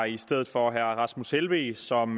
i stedet for herre rasmus helveg som